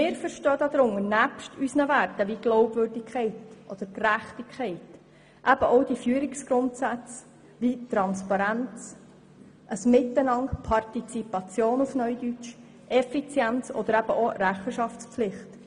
Nebst unseren Werten wie Glaubwürdigkeit und Gerechtigkeit, verstehen wir darunter auch Führungsgrundsätze wie Transparenz, Partizipation, Effizienz und Rechenschaftspflicht.